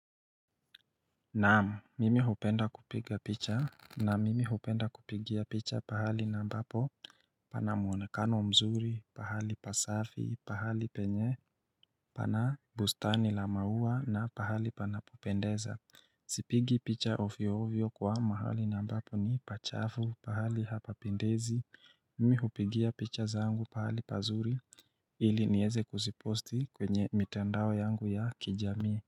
Naam, mimi hupenda kupiga picha na mimi hupenda kupigia picha pahali ambapo pana mwonekano mzuri, pahali pasafi, pahali penye pana bustani la maua na pahali panapopendeza Sipigi picha ovyovyo kwa mahali ambapo ni pachafu, pahali hapapendezi Mimi hupigia picha zangu pahali pazuri ili niweze kuziposti kwenye mitandao yangu ya kijamii.